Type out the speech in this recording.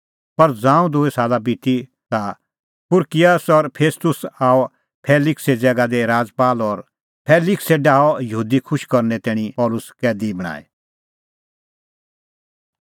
पर ज़ांऊं दूई साला बिती ता पुरकियस फेस्तुस आअ फेलिक्से ज़ैगा दी राजपाल और फेलिक्सै डाहअ यहूदी खुश करने तैणीं पल़सी कैदी ई बणांईं